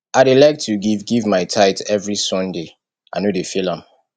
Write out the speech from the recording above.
i dey like to give give my tithe every sunday i no dey fail am